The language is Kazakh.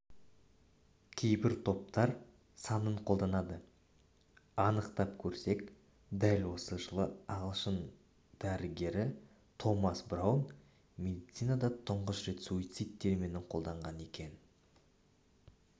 кейбір топар санын қолданады анықтап көрсек дәл осы жылы ағылшын дәрігері томас браун медицинада тұңғыш рет суицид терминін қолданған екен